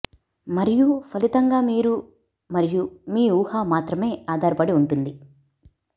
మరియు ఫలితంగా మీరు మరియు మీ ఊహ మాత్రమే ఆధారపడి ఉంటుంది